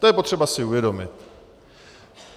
To je potřeba si uvědomit.